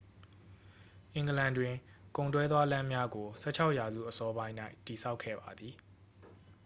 အင်္ဂလန်တွင် ကုန်တွဲသွားလမ်းများကို 16 ရာစုအစောပိုင်း၌ တည်ဆောက်ခဲ့ပါသည်